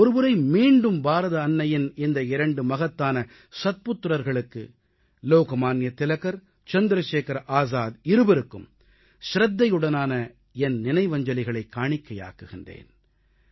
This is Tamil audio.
ஒருமுறை மீண்டும் பாரத அன்னையின் இந்த இரண்டு மகத்தான சத்புத்திரர்களுக்கு லோக்மான்ய திலகர் சந்திரசேகர ஆசாத் இருவருக்கும் சிரத்தையுடனான என் நினைவஞ்சலிகளைக் காணிக்கையாக்குகிறேன்